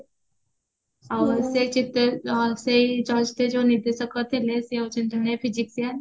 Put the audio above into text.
ଆଉ ସେଇ ଚିତ୍ରରେ ସେଇ ଚଳଚିତ୍ରରେ ଯୋଉ ନିର୍ଦେଶକ ଥିଲେ ସିଏ ହଉଚନ୍ତି ଜେନ physician